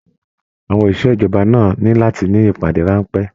Àwọn oṣiṣẹ ìjọba náà ní láti ní ìpàdé ránpẹ́.